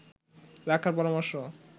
রাখার পরামর্শ